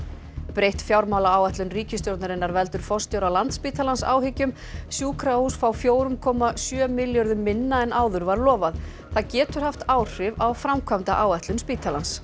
breytt fjármálaáætlun ríkisstjórnarinnar veldur forstjóra Landspítalans áhyggjum sjúkrahús fá fjögur komma sjö milljörðum minna en áður var lofað það getur haft áhrif á framkvæmdaáætlun spítalans